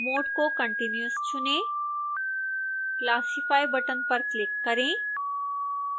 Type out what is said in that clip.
mode को continuous चुनें